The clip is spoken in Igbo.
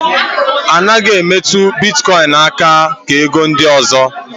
A naghị emetụ bitkọin aka ka ego ndị ọzọ.